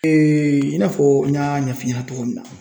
Eee i n'a fɔ n y'a ɲɛf'i ɲɛna togoya min na